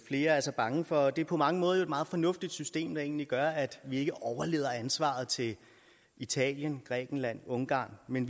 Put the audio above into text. flere er så bange for og det på mange måder et meget fornuftigt system der egentlig gør at vi ikke overlader ansvaret til italien grækenland ungarn men